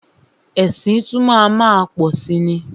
Ẹ̀sìn tún má a má pọ̀si ni.